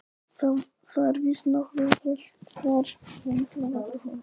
Það er víst nokkuð kalt þar og miklar vetrarhörkur.